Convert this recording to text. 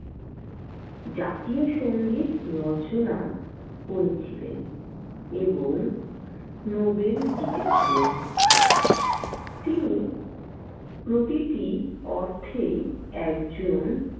জাতীয় সংগীত রচনা করেছিলেন এবং নোবেল জিতেছিলেন। তিনি প্রতিটি অর্থেই একজন।